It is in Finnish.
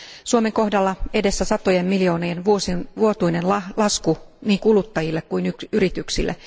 Suomen kohdalla edessä on satojen miljoonien vuotuinen lasku niin kuluttajille kuin yrityksille.